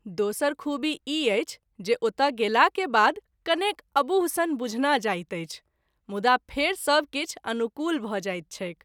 दोसर खूबी ई अछि जे ओतय गेला के बाद कनेक अबूह सन बुझना जाइत अछि मुदा फेरि सब किछु अनुकूल भ’ जाइत छैक।